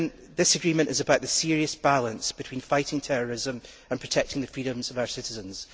This agreement is about the serious balance between fighting terrorism and protecting the freedoms of our citizens.